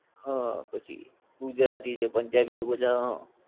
હા પછી ગુજરાતી છે પંજાબી છે એ બધાં હા